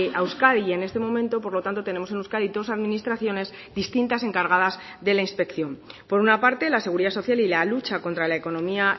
a euskadi y en este momento por lo tanto tenemos en euskadi dos administraciones distintas encargadas de la inspección por una parte la seguridad social y la lucha contra la economía